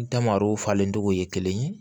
Damaro falen cogo ye kelen ye